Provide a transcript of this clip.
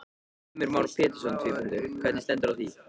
Heimir Már Pétursson: Hvernig stendur á því?